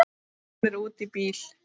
Hún er úti í bíl!